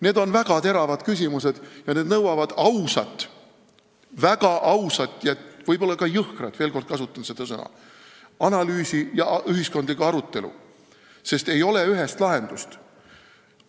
Need on väga teravad küsimused ja need nõuavad ausat, väga ausat ja võib-olla ka jõhkrat, veel kord kasutan seda sõna, analüüsi ja ühiskondlikku arutelu, sest ei ole ühest lahendust.